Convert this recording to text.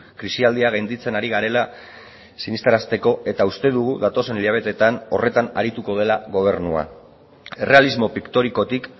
krisialdia gainditzen ari garela sinestarazteko eta uste dugu datozen hilabeteetan horretan arituko dela gobernua errealismo piktorikotik